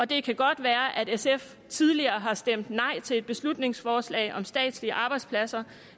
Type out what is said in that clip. det kan godt være at sf tidligere har stemt nej til et beslutningsforslag om statslige arbejdspladser